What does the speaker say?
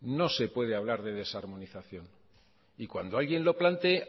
no se puede hablar de desarmonización y cuando alguien lo plantee